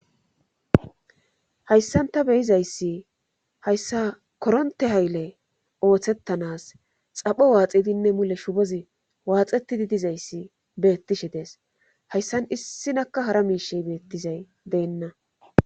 hayssanta beyizayssi hayssa koronte hayle ooththettanas xapho waaxidinne mule shubozi waaxetidi dizayssi bettishe dees hayssan issinakka hara miishey beettizay deenna